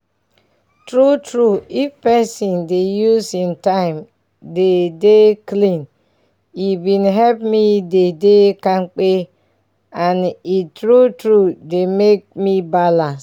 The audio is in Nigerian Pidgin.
true true if pesin dey use him time dey dey clean e bin help me dey dey kampe and e true true dey make me balance